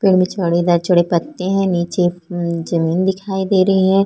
पेड़ में चौड़ेदार चौड़े पत्ते है नीचे जमीन दिखायी दे रही है।